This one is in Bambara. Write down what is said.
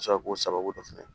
Sɔrɔ k'o sababu dɔn fɛnɛ